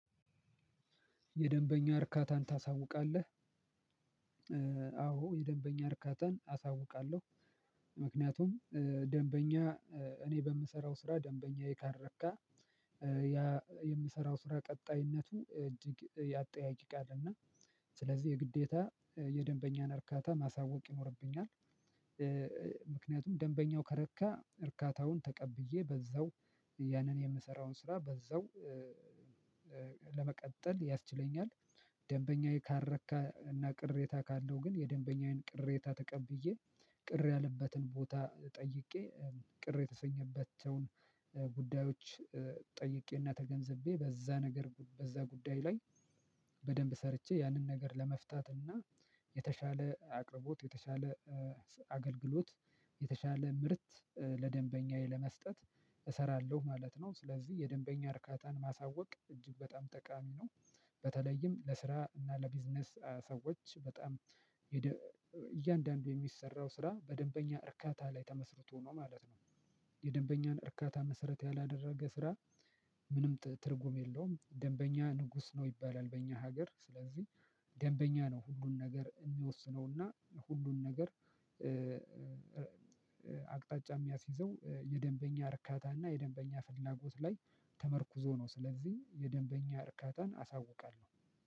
የደንበኛ እርካታን ታሳውቃለህ? አዎ የደንበኛ እርካታን አሳውቃለሁ። ምክንያቱም ደንበኛ እኔ በምሰራው ስራ ደንበኛዬ ካረካ የምሰራው ስራ ቀጣይነቱ እጅግ ያጠያይቃል። እና ስለዚህ የግዴታ የደንበኛን እርካታ ማሳወቅ ይኖርብኛል። ምክንያቱም ደንበኛው ከረካ እርካታውን ተቀብዬ በዛው ያንን የምሰራውን ስራ በዛው ለመቀጠል ያስችለኛል። ደንበኛዬ ካረካ እና ቅሬታ ካለው ግን የደንበኛዬን ቅሬታ ተቀብዬ ቅር ያለበትን ቦታ ጠይቄ ቅር የተሰኘበትን ጉዳዮች ጠይቄና ተገንዘቤ በዛ ነገር በዛ ጉዳይ ላይ በደንብ ሰርቼ ያንን ነገር ለመፍታትና የተሻለ አቅርቦት የተሻለ አገልግሎት የተሻለ ምርት ለደንበኛዬ ለመስጠት። እሰራለሁ ማለት ነው። ስለዚህ የደንበኛ እርካታን ማሳወቅ እጅግ በጣም ጠቃሚ ነው። በተለይም ለስራ እና ለቢዝነስ ሰዎች በጣም እያንዳንዱ የሚሰራው ስራ በደንበኛ እርካታ ላይ ተመስርቶ ነው ማለት ነው። የደንበኛን እርካታ መሰረት ያላደረገ ስራ ምንም ትርጉም የለውም። ደንበኛ ንጉስ ነው ይባላል በእኛ ሀገር ስለዚህ። ደንበኛ ነው ሁሉን ነገር የሚወስነውና ሁሉን ነገር አቅጣጫ የሚያስይዘው የደንበኛ እርካታና የደንበኛ ፍላጎት ላይ ተመርኩዞ ነው። ስለዚህ የደንበኛ እርካታን አሳውቃለሁ።